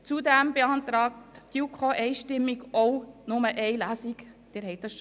Zudem beantragt die JuKo ebenfalls einstimmig, auf eine zweite Lesung zu verzichten.